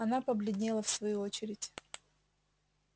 она побледнела в свою очередь